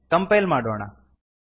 compile ಮಾಡೋಣ